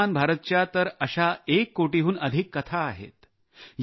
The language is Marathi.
आयुष्मान भारतच्या तर अशा एक कोटीहून अधिक कथा आहेत